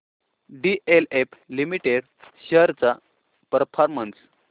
DLF limited shares चा performance